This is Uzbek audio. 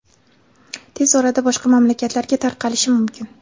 tez orada boshqa mamlakatlarga tarqalishi mumkin.